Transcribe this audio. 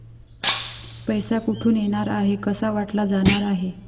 पैसा कुठून येणार आहे, कसा वाटला जाणार आहे.